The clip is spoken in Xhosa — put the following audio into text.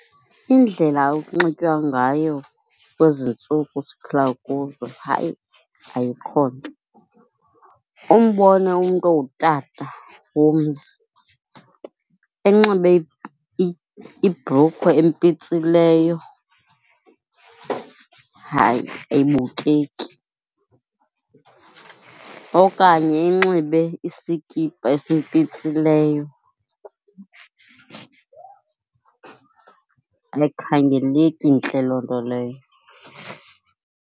Indlela ekunxitywa ngayo kwezi ntsuku siphila kuzo hayi ayikho ntle. Umbone umntu ongutata owomzi enxibe ibhrukhwe empitsileyo, hayi ayibukeki. Okanye enxibe isikipha esimpitsileyo, ayikhangeleki intle loo nto leyo.